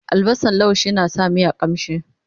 albasan laushi na sa miya ƙamshi